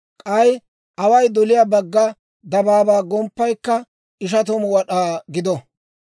K'ay away doliyaa bagga dabaabaa gomppaykka ishatamu wad'aa gido.